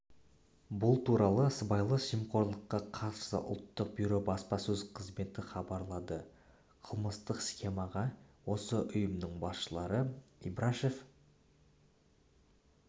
бұл туралы сыбайлас жемқорлыққа қарсы ұлттық бюро баспасөз қызметі хабарлады қылмыстық схемаға осы ұйымның басшылары ибрашев